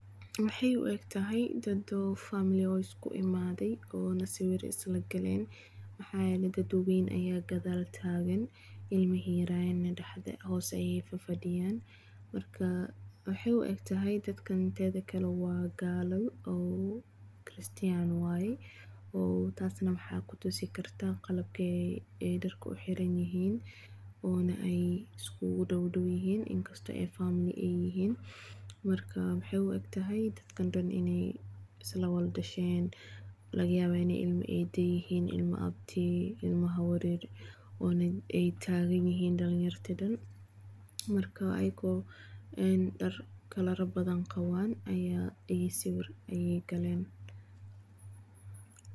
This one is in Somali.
Maxay u egtahay lawa family isku imathay oo sawira islakaleen waxayeelay baddabaya kathal tagan, ilmaha yaryarayrn hoos Aya fadiyaan maraka waxay u egtahay tethakali wa kaalo distren waye taasi waxakudisi kartah, qalabka darka u xeeran yahin ona Aya iskudawadawyahin faamily AA yahin waxay u egtahay Ina islawak dasheen lawagayabah Ina ilama need ilma aabti ilma hawaryar aytagayahin dalinyara oo Dan marka ayako kalara bathan qaban Aya sawir Aya kaleen.